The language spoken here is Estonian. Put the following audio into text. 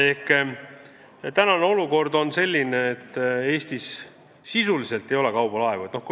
Praegu on siis olukord selline, et Eestis sisuliselt ei ole kaubalaevu.